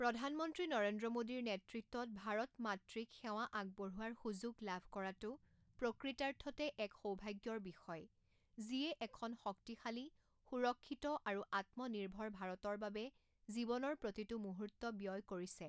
প্ৰধানমন্ত্ৰী নৰেন্দ্ৰ মোদীৰ নেতৃত্বত ভাৰত মাতৃক সেৱা আগবঢোৱাৰ সুযোগ লাভ কৰাটো প্ৰকৃতাৰ্থতে এক সৌভাগ্যৰ বিষয়, যিয়ে এখন শক্তিশালী, সুৰক্ষিত আৰু আত্মনিৰ্ভৰ ভাৰতৰ বাবে জীৱনৰ প্ৰতিটো মুহূৰ্ত ব্যয় কৰিছে।